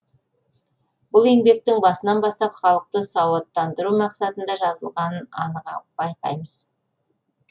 бұл еңбектің басынан бастап халықты сауаттандыру мақсатында жазылғанын анық байқаймыз